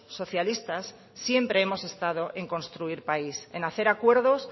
socialistas siempre hemos estados en construir país en hacer acuerdos